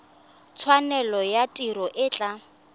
tshwanelo ya tiro e tla